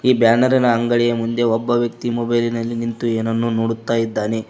ಈ ಬ್ಯಾನರಿನ ಅಂಗಡಿಯ ಮುಂದೆ ಒಬ್ಬ ವ್ಯಕ್ತಿ ಮೊಬೈಲಿನಲ್ಲಿ ನಿಂತು ಏನನ್ನೋ ನೋಡುತ್ತ ಇದ್ದಾನೆ.